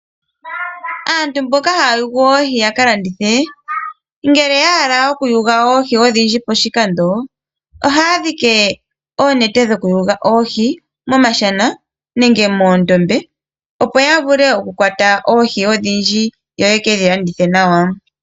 Aantu mboka haa yugu oohi yakalandithe ngele yahala okuyuga oohi ondhindji poshikando ohandhike oonete momashana nenge moondombe opo ya vule okukwata oohi ondhindji yoyedhi landithe nawa.